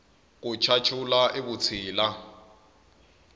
ku chachula i vutshila